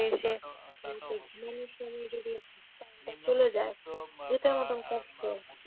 চলে যায় এটাও আমাদের কষ্ট।